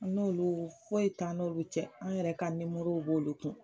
N'olu foyi t'an n'olu cɛ, an yɛrɛ ka b'olu kun